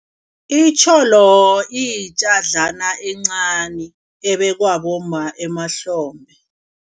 Itjholo iyitjadlana encani ebekwa bomma emahlombe.